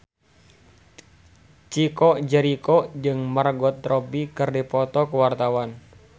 Chico Jericho jeung Margot Robbie keur dipoto ku wartawan